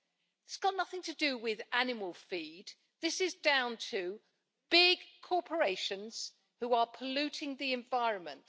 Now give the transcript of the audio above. It has got nothing to do with animal feed this is down to big corporations which are polluting the environment.